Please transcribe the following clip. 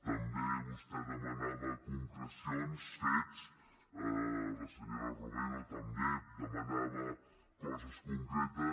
també vostè demanava concrecions fets la senyora romero també demanava coses concretes